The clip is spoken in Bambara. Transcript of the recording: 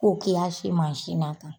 Ko ki ya si na tan